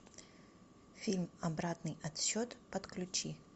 фильм обратный отсчет подключи